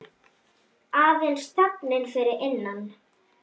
Aðeins þögnin fyrir innan.